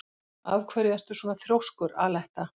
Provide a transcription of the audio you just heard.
Af hverju ertu svona þrjóskur, Aletta?